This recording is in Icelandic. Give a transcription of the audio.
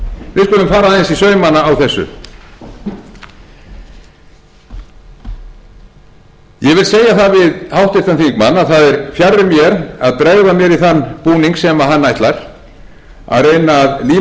í saumana á þessu ég vil segja það við háttvirtan þingmann að það er fjarri mér að bregða mér í þann búning sem hann ætlar að reyna að líma á mig